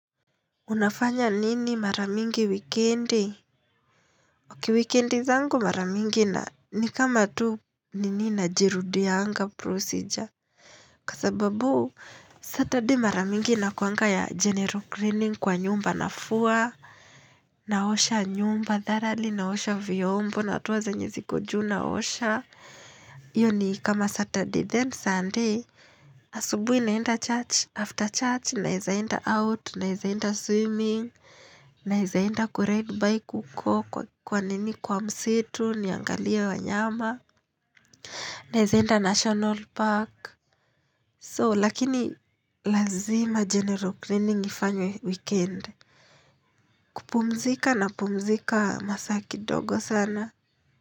Unafanya nini maramingi weekendi? Oki weekendi zangu maramingi na ni kama tu nini na jirudianga procedure. Kasababu, Saturday maramingi na kuanga ya general cleaning kwa nyumba na fua. Naosha nyumba, dharali, naosha vyombo, natoa zanye zikojuu, naosha. Iyo ni kama Saturday then Sunday Asubui naenda church after church Naizaenda out, naizaenda swimming Naizaenda kuret bike uko kwa kwa nini kwa msitu, niangalie wanyama Naizaenda national park So lakini lazima general cleaning ifanywe weekendi. Kupumzika na pumzika masaa kidogo sana.